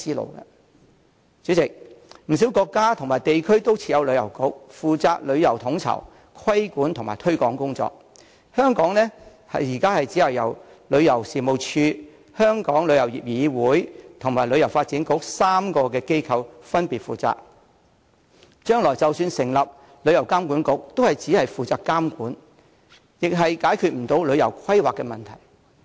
代理主席，不少國家和地區都設有旅遊局，負責旅遊統籌、規管和推廣工作，香港現時卻由旅遊事務署、香港旅遊業議會和旅發局3個機構分別負責，將來即使成立旅遊監管局，也只是負責監管，解決不了旅遊規劃的問題。